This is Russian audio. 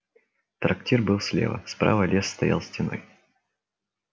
трактир был слева справа лес стоял стеной